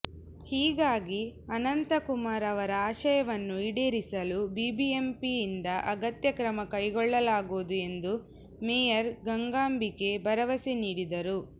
ಹೀಗಾಗಿ ಅನಂತಕುಮಾರ್ ಅವರ ಆಶಯವನ್ನು ಈಡೇರಿಸಲು ಬಿಬಿಎಂಪಿಯಿಂದ ಅಗತ್ಯ ಕ್ರಮ ಕೈಗೊಳ್ಳಲಾಗುವುದು ಎಂದು ಮೇಯರ್ ಗಂಗಾಂಬಿಕೆ ಭರವಸೆ ನೀಡಿದರು